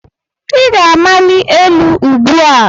Ị ga-amali elu ugbu a.!